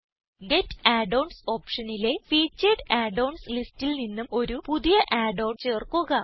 get add ons ഓപ്ഷനിലെ featured add ons ലിസ്റ്റിൽ നിന്നും ഒരു പുതിയ add ഓൺ ചേർക്കുക